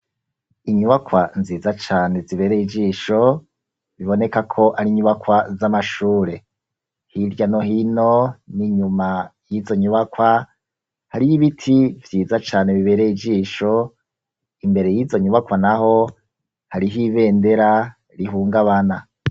Inyubakwa nziza cane zibereye ijisho biboneka ko ari inyubakwa z'amashure hirya no hino n'inyuma y'izo nyubakwa hariyo ibiti byiza cane bibereye ijisho imbere y'izo nyubakwa naho hariho ibendera rihungabana.